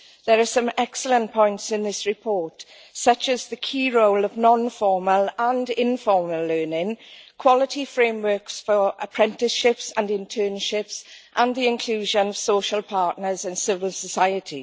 There are some excellent points in this report, such as the key role of non-formal and informal learning, quality frameworks for apprenticeships and internships, and the inclusion of social partners and civil society.